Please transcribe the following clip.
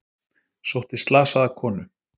Sótti slasaða konu